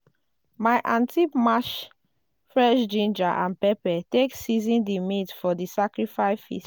my aunty mash fresh ginger and pepper take season di meat for di sacrifice